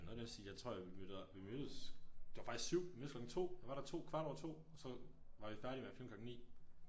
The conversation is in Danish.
Noget i den stil jeg tro vi vi mødte det var faktisk 7! Vi mødtes klokken 2 jeg var der 2 kvart over 2 og så var vi færdige med at filme klokken 9